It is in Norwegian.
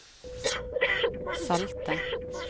salte